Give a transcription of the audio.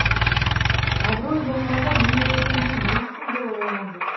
абырой болғанда мұны көрген де ешкім бола қойған жоқ